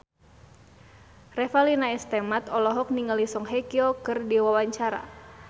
Revalina S. Temat olohok ningali Song Hye Kyo keur diwawancara